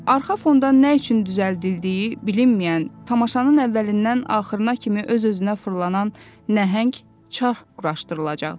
Arxa fonda nə üçün düzəldildiyi bilinməyən, tamaşanın əvvəlindən axırına kimi öz-özünə fırlanan nəhəng çarx quraşdırılacaqdı.